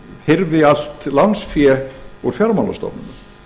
hyrfi allt lánsfé úr fjármálastofnunum